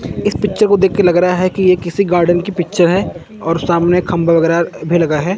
इस पिक्चर को देख के लग रहा है कि ये किसी गार्डन की पिक्चर है और सामने खंभा वगैरा भी लगा है।